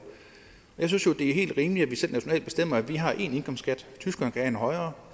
jeg synes det er helt rimeligt at vi selv nationalt bestemmer at vi har én indkomstskat tyskerne kan have en højere